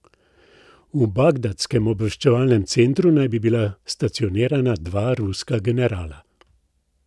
V bagdadskem obveščevalnem centru naj bi bila stacionirana dva ruska generala.